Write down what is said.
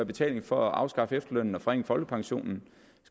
betaling for at afskaffe efterlønnen og forringe folkepensionen